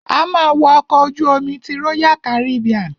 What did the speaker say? A ma wo ọkọ̀ ojú omi ti royal Caribbean.